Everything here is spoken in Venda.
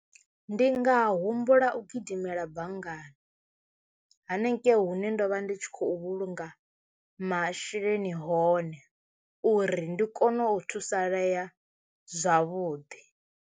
Ndi nga humbula u gidimela banngani hanengei hune ndo vha ndi tshi khou vhulunga masheleni hone uri ndi kone u thusalea zwavhuḓi.